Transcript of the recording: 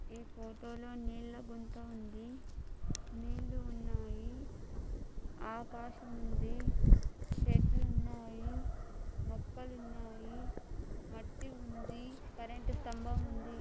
ఈ ఫోటో లో నీళ్ల గుంత ఉంది. నీళ్లు ఉన్నాయి ఆకాశముంది చెట్లు ఉన్నాయి మొక్కలున్నాయి మట్టి ఉంది కరెంటు స్తంభం ఉంది.